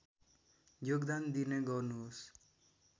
योगदान दिने गर्नुहोस्